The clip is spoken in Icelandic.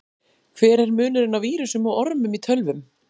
Hver er munurinn á vírusum og ormum í tölvum?